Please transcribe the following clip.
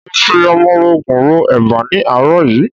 Mo fi ọmọrogùn ro eba ni ní àárọ̀ yìí.